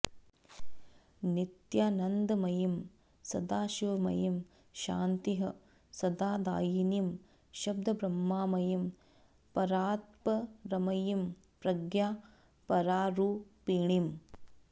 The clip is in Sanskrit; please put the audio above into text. नित्यानन्दमयीं सदाशिवमयीं शान्तिः सदादायिनीं शब्दब्रह्ममयीं परात्परमयीं प्रज्ञा परारूपिणीम्